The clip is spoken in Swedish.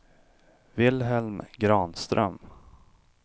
Vilhelm Granström